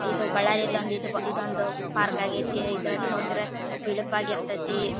ಇದು ಬಳ್ಳಾರಿಯಲ್ಲಿ ಇದು ಒಂದು ಪಾರ್ಕ್ ಆಗ್ಯ್ತಿ ಇದ್ರಲ್ಲಿ ನೋಡಿದ್ರೆ ಬಿಳಪ್ ಆಗಿ ಇರ್ ತ್ಯತಿ.